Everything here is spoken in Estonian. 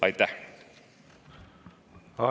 Aitäh!